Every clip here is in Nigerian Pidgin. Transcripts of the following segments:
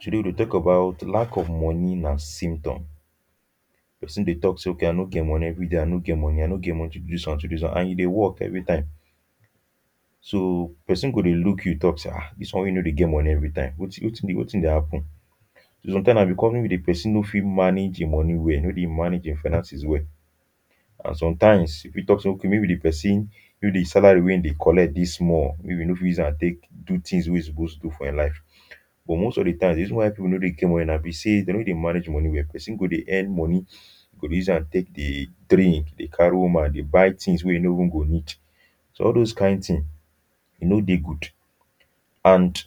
today we deh talk about lack of money nah symptom person deh talk say okay i no get money everyday i no get money i no get money to do this one to do this one and you deh work everytime so person go deh look you talk say um this one weh you no deh get money everytime wetin wetin deh wetin deh happen sometimes nah because maybe the person no fit manage hin money well e no fit manage hin finances well and sometimes if we tok say okay maybe the person maybe the salary weh hin deh collect deh small maybe e no fit use am take do things weh e suppose do for hin life but most of the times the reason why people no deh get money nah be say them no dey manage money well person go deh earn money go deh use am take deh drink deh carry woman deh buy things weh e no go even go need so all those kind thing e no deh good and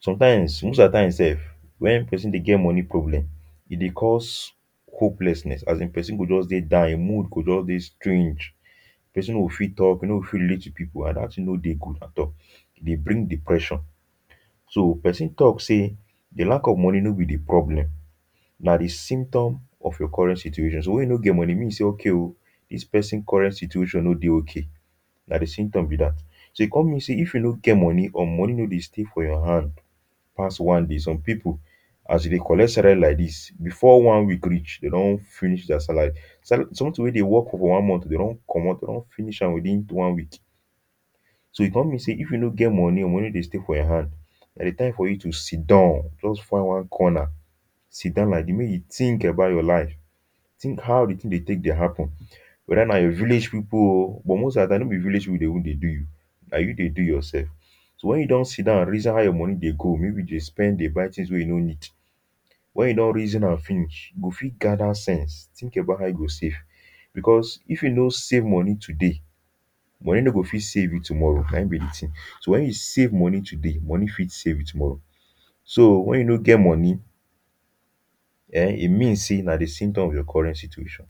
sometimes most at times sef when person deh get money problem e deh cause hopelessness as in person go just deh down hin mood go just deh strange person no go fit talk e no go fit relate with people an that thing no deh good at all e deh bring depression so person talk say the lack of money no be the problem nah the symptom of your current situation so when you no get money e mean say okay o this person current situation no deh okay nah the symptom be that so e come mean say if you no get money or money no deh stay for your hand pass one day some people as you deh collect salary like this before one week reach they don finish their salary sala something weh them work for one month them don commot they don finish am within one week so e come mean say if you no get money or money no deh stay for your hand nah the time for you to sit don just find one conner sit down like this make you think about your life think how the thing deh take deh happen whether nah your village people o but most at times no be village people deh even deh do you nah you deh do yourself so when you don sit down reason how your money deh go maybe you deh spend deh buy things weh you no need when you don reason am finish you go fit gather sense think about how you go save because if you no save money today money no go fit save you tomorrow nah in be de thing so when you save money today money fit save you tomorrow so when you no get money um e mean say nah the symptom of your current situation.